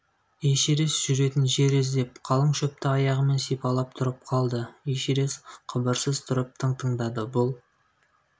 эшерест жүретін жел іздеп қалың шөпті аяғымен сипалап тұрып қалды эшерест қыбырсыз тұрып тың тыңдады бұл